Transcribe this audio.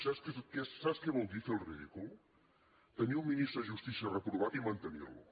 sap què vol dir fer el ridícul tenir un ministre de justícia reprovat i mantenir lo